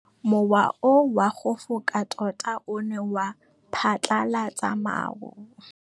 Mowa o wa go foka tota o ne wa phatlalatsa maru.